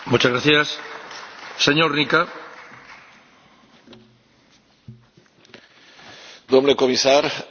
Domnule comisar, domnule vicepreședinte, vă felicit pentru activitatea și eforturile depuse până în prezent pentru a implementa Uniunea energetică.